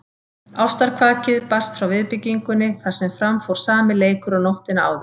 Ástarkvakið barst frá viðbyggingunni þar sem fram fór sami leikur og nóttina áður.